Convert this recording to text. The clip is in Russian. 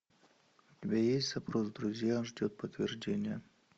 у тебя есть запрос в друзья ждет подтверждения